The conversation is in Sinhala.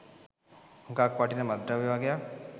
හුඟක් වටින මත්ද්‍රව්‍ය වගයක්.